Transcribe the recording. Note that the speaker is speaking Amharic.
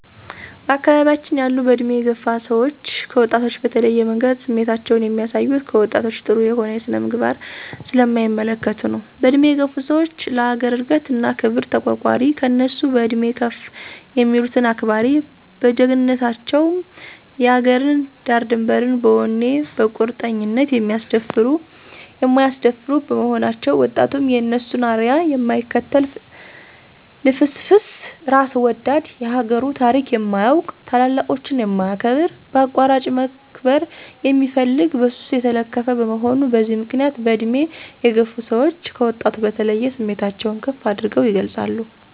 በአካባቢያችን ያሉ በእድሜ የገፋ ሰዎች ከወጣቶች በተለየ መንገድ ስሜታቸውን የሚያሳዩት፣ ከወጣቶች ጥሩ የሆነ ስነ-ምግባር ስለማይመለከቱ ነው። በእድሜ የገፋ ሰዎች ለአገር እድገት እና ክብር ተቋርቋሪ፣ ከእነሱ በእድሜ ከፍ የሚሉትን አክባሪ፣ በጀግንነታቸ ውም የአገርን ዳርድንበር በወኔ በቁርጠኝነት የማያስደፍሩ በመሆናቸው፤ ወጣቱም የእነሱን አርያ የማይከተል ልፍስፍስ፣ እራስ ወዳድ፣ የአገሩን ታሪክ የማያውቅ፣ ታላላቆችን የማያከብር፣ በአቋራጭ መክበር የሚፈልግ፣ በሱስ የተለከፈ፣ በመሆኑ በዚህ ምክንያት በእድሜ የገፋ ሰወች ከወጣቱ በተለየ ስሜታቸውን ከፍ አድርገው ይገልፃሉ።